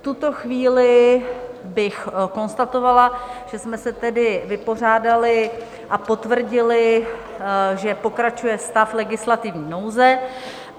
V tuto chvíli bych konstatovala, že jsme se tedy vypořádali a potvrdili, že pokračuje stav legislativní nouze.